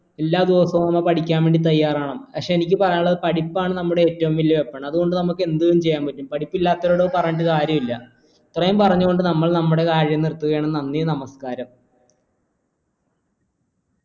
എല്ലാ ദിവസവും നമ്മൾ പഠിക്കാൻ വേണ്ടി തയ്യാറാകണം പക്ഷെ എനിക്ക് പറയാനുള്ളത് പഠിപ്പാണ് നമ്മുടെ ഏറ്റവും വലിയ weapon അതുകൊണ്ട് നമുക്ക് എന്തും ചെയ്യാൻ പറ്റും പഠിപ്പ് ഇല്ലാത്തവരുടെ അടുത്ത് അത് പറഞ്ഞിട്ട് കാര്യമില്ല ഇത്രയും പറഞ്ഞു കൊണ്ട് നമ്മൾ നമ്മുടെ കാര്യം നിർത്തുകയാണ് നന്ദി നമസ്കാരം